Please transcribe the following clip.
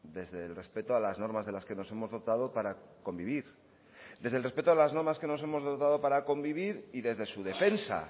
desde el respeto a las normas de las que nos hemos dotado para convivir desde el respeto a las normas que nos hemos dotado para convivir y desde su defensa